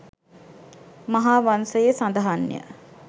මහාවංසයේ සඳහන්ය